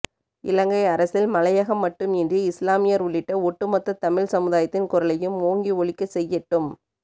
இலங்கை அரசில் மலையகம் மட்டும் இன்றி இஸ்லாமியர் உள்ளிட்ட ஒட்டுமொத்தத் தமிழ் சமுதாயத்தின் குரலையும் ஓங்கி ஒலிக்கசெய்ய ட்டும்